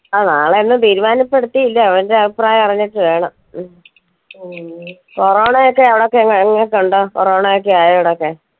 ആ നാളെ ഒന്നും തീരുമാനപ്പെടുത്തിയില്ല അവന്റെ അഭിപ്രായം അറിഞ്ഞിട്ട് വേണം corona യൊക്കെ അവിടൊക്കെ corona ഒക്കെ ആയോ അവിടെയൊക്കെ